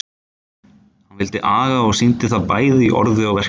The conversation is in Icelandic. Hann vildi aga og sýndi það bæði í orði og verki.